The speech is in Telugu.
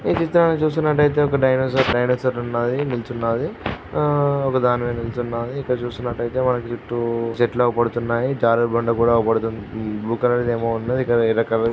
ఈ చిత్రాన్ని చూసినట్లయితే ఒక డైనోసర్ ఒక డైనోసర్ ఉన్నాది ఆ నిల్చున్నదిఒక్కదాని మీద నిలుచున్నదిఇక్కడ చూసినట్టయితే వాటి చుట్టూ చెట్లు అవుపడుతున్నాయిజారుడుబండ కూడా అవుపడుతుంది చుట్టూ--